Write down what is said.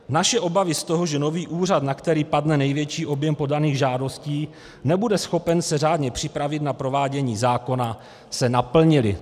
Naše obavy z toho, že nový úřad, na který padne největší objem podaných žádostí, nebude schopen se řádně připravit na provádění zákona, se naplnily."